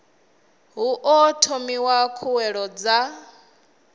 hu o thomiwa khuwelelo dza